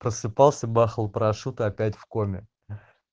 просыпался бахал парашюта и опять в коме